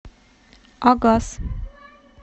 агас